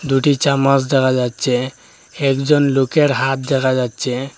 দুটি চামচ দেখা যাচ্চে হেকজন লোকের হাত দেখা যাচ্চে ।